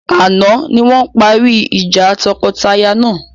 Àná ni wọn parí ìjà tọkọtaya náà.